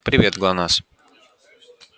привет глонассс